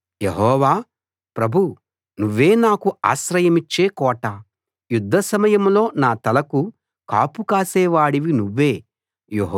యెహోవా ప్రభూ నువ్వే నాకు ఆశ్రయమిచ్చే కోట యుద్ధ సమయంలో నా తలకు కాపు కాసే వాడివి నువ్వే